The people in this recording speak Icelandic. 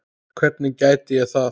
Hvernig gæti ég það?